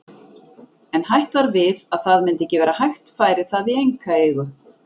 En hætt var við að það myndi ekki vera hægt færi það í einkaeigu.